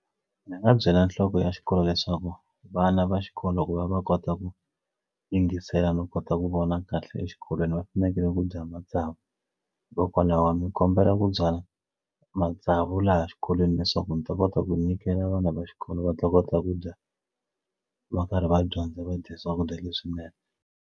Ndzi nga byela nhloko ya xikolo leswaku vana va xikolo ku va va kota ku yingisela no kota ku vona kahle exikolweni va fanekele ku dya matsavu hikokwalaho a ndzi kombela ku byala matsavu laha xikolweni leswaku ndzi ta kota ku nyikela vana va xikolo va ta kota ku dya va karhi va dyondza va dya swakudya leswinene.